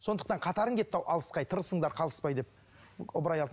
сондықтан қатарың кетті ау алысқа ай тырысыңдар қалыспай деп ыбырай